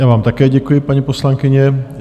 Já vám také děkuji, paní poslankyně.